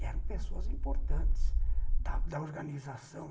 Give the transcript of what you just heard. Eram pessoas importantes da da organização.